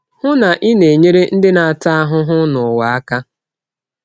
Hụ na i na-enyere ndị na-ata ahụhụ n’ụwa aka.